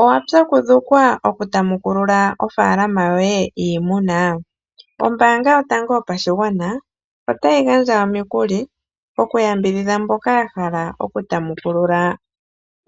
Owapyakudhukwa oku tamukulula ofaalama yoye yiimuna? Ombaanga yotango yopashigwana otayi gandja omikuli okuyambidhidha mboka ya hala okutamukulula